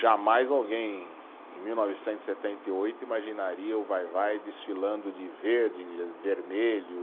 Jamais alguém em mil novecentos e setenta e oito imaginaria o Vai-Vai desfilando de verde, vermelho.